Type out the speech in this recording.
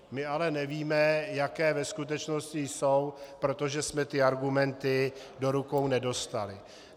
My ale nevíme, jaké ve skutečnosti jsou, protože jsme ty argumenty do rukou nedostali.